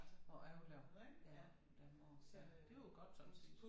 At overleve ja på den måde ja det jo godt sådan set